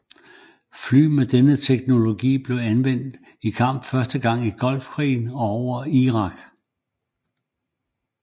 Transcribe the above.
Fly med denne teknologi blev anvendt i kamp første gang i Golfkrigen og over Irak